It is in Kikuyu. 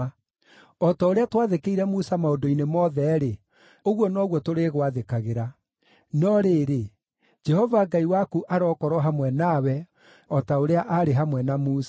O ta ũrĩa twaathĩkĩire Musa maũndũ-inĩ mothe-rĩ, ũguo noguo tũrĩgwathĩkagĩra. No rĩrĩ, Jehova Ngai waku arokorwo hamwe nawe o ta ũrĩa aarĩ hamwe na Musa.